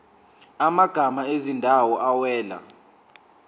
amagama ezindawo awela